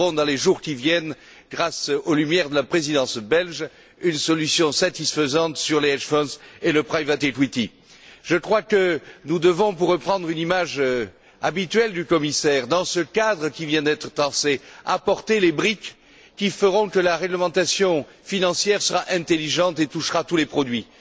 Nous trouverons, dans les jours qui viennent, grâce aux lumières de la Présidence belge, une solution satisfaisante sur les hedge funds et le private equity Je crois que nous devons, pour reprendre une image habituelle du commissaire, apporter, dans ce cadre qui vient d'être tracé, les briques qui feront que la réglementation financière sera intelligente et touchera tous les produits.